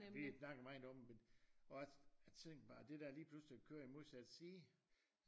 Vi har snakket meget om at også at tænk bare det der lige pludselig at køre i modsatte side